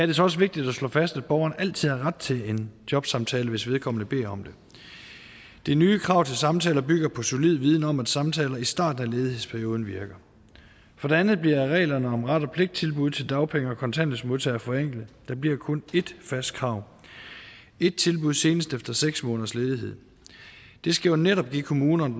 det så også vigtigt at slå fast at borgeren altid har ret til en jobsamtale hvis vedkommende beder om det det nye krav til samtaler bygger på solid viden om at samtaler i starten af ledighedsperioden virker for det andet bliver reglerne om ret og pligt tilbud til dagpenge og kontanthjælpsmodtagere forenklet der bliver kun ét fast krav et tilbud senest efter seks måneders ledighed det skal netop give kommunerne